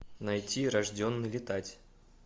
найти рожденный летать